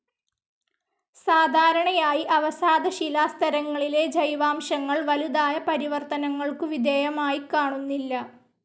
സാധാരണയായി അവസാദശിലാസ്തരങ്ങളിലെ ജൈവാംശങ്ങൾ വലുതായ പരിവർത്തനങ്ങൾക്കു വിധേയമായിക്കാണുന്നില്ല.